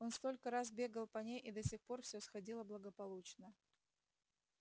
он столько раз бегал по ней и до сих пор всё сходило благополучно